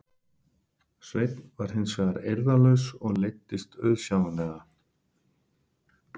Sveinn var hins vegar eirðarlaus og leiddist auðsjáanlega.